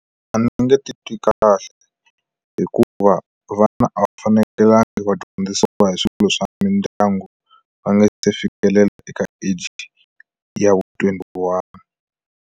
A ndzi nge titwi kahle hikuva vana a va fanekelanga va dyondzisiwa hi swilo swa mindyangu va nga se fikelela eka age ya twenty one.